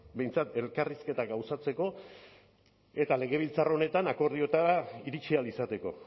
behintzat elkarrizketak gauzatzeko eta legebiltzar honetan akordioetara iritsi ahal izateko